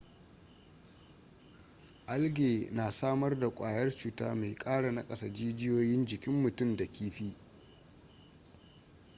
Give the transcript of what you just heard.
algae na samar da kwayar cuta mai kara nakasa jijiyoyin jikin mutum da kifi